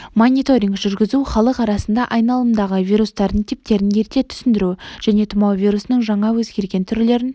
мониторинг жүргізу халық арасында айналымдағы вирустардың типтерін ерте түсіндіру және тұмау вирусының жаңа өзгерген түрлерін